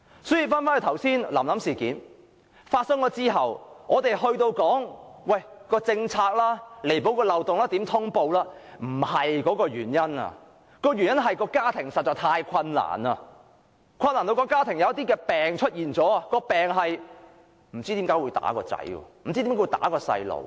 所以，"臨臨事件"發生後，人們紛紛說要彌補政策漏洞、改善通報機制，但這並不是最終原因，而是因為家庭實在太過困難，以致出現了一些毛病，不知何故會毆打子女。